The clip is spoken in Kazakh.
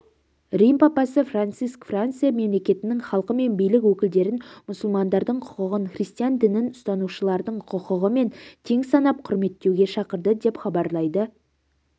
рим папасы франциск франция мемлекетінің халқы мен билік өкілдерін мұсылмандардың құқығын христиан дінін ұстанушылардың құқығымен тең санап құрметтеуге шақырды деп хабарлайды